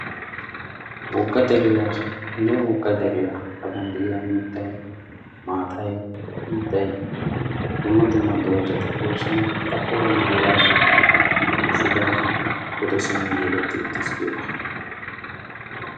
wogga deriyanne wogga deriyaa xaphphon de'iya mittay, maatay, xiiday dumma dumma doozati doosona. a xaphphoora maabaratiyaa shubay pude simmi yegeti uttees giyooga.